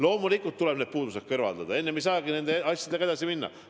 Loomulikult tuleb need puudused kõrvaldada, enne ei saagi nende asjadega edasi minna.